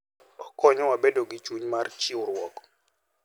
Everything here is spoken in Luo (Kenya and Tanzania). Okonyowa bedo gi chuny mar chiwruok.